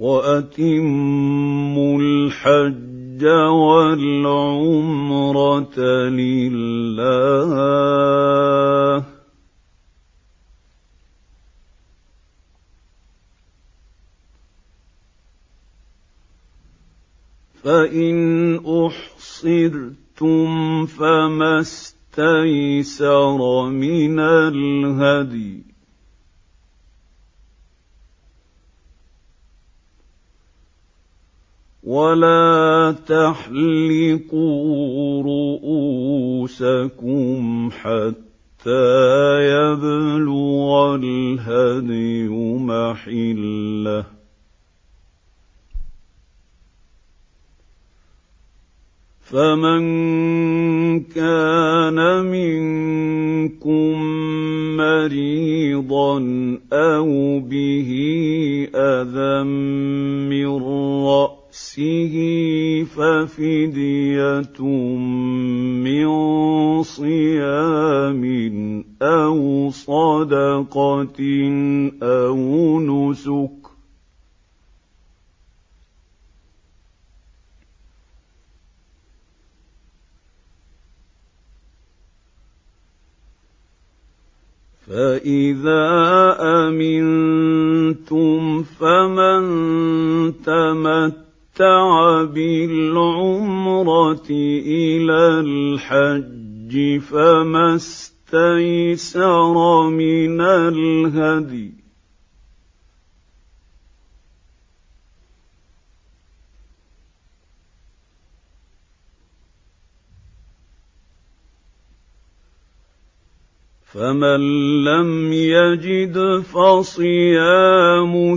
وَأَتِمُّوا الْحَجَّ وَالْعُمْرَةَ لِلَّهِ ۚ فَإِنْ أُحْصِرْتُمْ فَمَا اسْتَيْسَرَ مِنَ الْهَدْيِ ۖ وَلَا تَحْلِقُوا رُءُوسَكُمْ حَتَّىٰ يَبْلُغَ الْهَدْيُ مَحِلَّهُ ۚ فَمَن كَانَ مِنكُم مَّرِيضًا أَوْ بِهِ أَذًى مِّن رَّأْسِهِ فَفِدْيَةٌ مِّن صِيَامٍ أَوْ صَدَقَةٍ أَوْ نُسُكٍ ۚ فَإِذَا أَمِنتُمْ فَمَن تَمَتَّعَ بِالْعُمْرَةِ إِلَى الْحَجِّ فَمَا اسْتَيْسَرَ مِنَ الْهَدْيِ ۚ فَمَن لَّمْ يَجِدْ فَصِيَامُ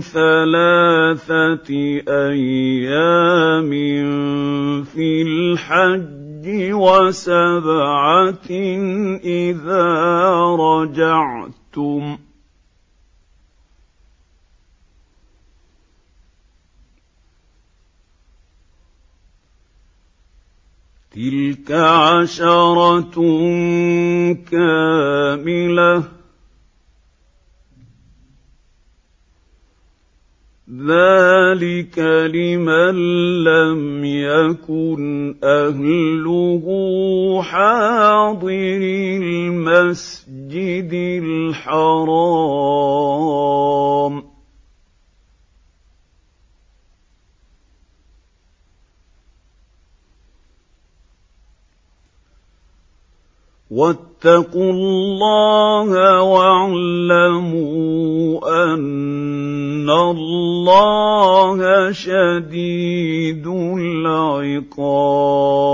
ثَلَاثَةِ أَيَّامٍ فِي الْحَجِّ وَسَبْعَةٍ إِذَا رَجَعْتُمْ ۗ تِلْكَ عَشَرَةٌ كَامِلَةٌ ۗ ذَٰلِكَ لِمَن لَّمْ يَكُنْ أَهْلُهُ حَاضِرِي الْمَسْجِدِ الْحَرَامِ ۚ وَاتَّقُوا اللَّهَ وَاعْلَمُوا أَنَّ اللَّهَ شَدِيدُ الْعِقَابِ